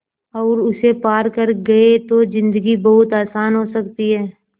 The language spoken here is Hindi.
और उसे पार कर गए तो ज़िन्दगी बहुत आसान हो सकती है